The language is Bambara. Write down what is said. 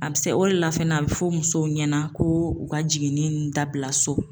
A bɛ se o de la fɛnɛ a bɛ fɔ musow ɲɛna ko u ka jiginni dabila so.